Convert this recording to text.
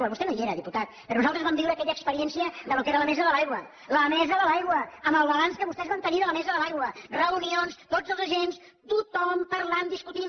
) vostè no hi era diputat però nosaltres vam viure aquella experiència del que era la mesa de l’aigua el balanç que vostès van tenir de la mesa de l’aigua reunions tots els agents tothom parlant discutint